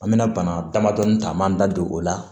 An bɛna bana damadɔni ta an b'an da don o la